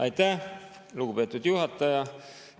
Aitäh, lugupeetud juhataja!